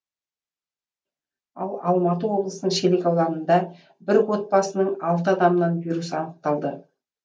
ал алматы облысының шелек ауданында бір отбасының алты адамынан вирус анықталды